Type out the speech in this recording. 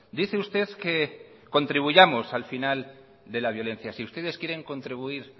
dice usted que contribuyamos al final de la violencia si ustedes quieren contribuir